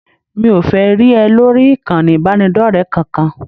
Mi ò fẹ́ rí ẹ lórí ìkànnì ìbánidọ́rẹ̀ẹ́ kankan